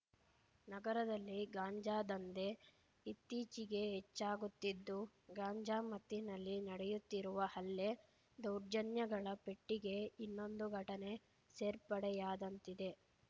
ನಗರದಲ್ಲಿ ಗಾಂಜಾ ದಂಧೆ ಇತ್ತೀಚಿಗೆ ಹೆಚ್ಚಾಗುತ್ತಿದ್ದು ಗಾಂಜಾ ಮತ್ತಿನಲ್ಲಿ ನಡೆಯುತ್ತಿರುವ ಹಲ್ಲೆ ದೌರ್ಜನ್ಯಗಳ ಪೆಟ್ಟಿಗೆ ಇನ್ನೊಂದು ಘಟನೆ ಸೇರ್ಪಡೆಯಾದಂತಿದೆ